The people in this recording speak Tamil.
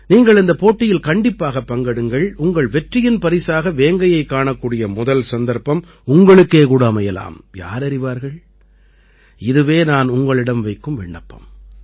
நீங்கள் இந்தப் போட்டியில் கண்டிப்பாகப் பங்கெடுங்கள் உங்கள் வெற்றியின் பரிசாக வேங்கையைக் காணக்கூடிய முதல் சந்தர்ப்பம் உங்களுக்கே கூட அமையலாம் யாரறிவார்கள் இதுவே நான் உங்களிடம் வைக்கும் விண்ணப்பம்